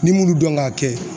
N'i m'ulu dɔn k'a kɛ